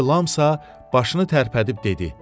İrilamsa başını tərpədib dedi: